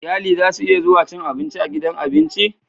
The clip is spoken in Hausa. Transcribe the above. Iyali zasu iya zuwa cin abinci a gidan abinci